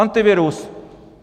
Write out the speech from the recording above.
Antivirus!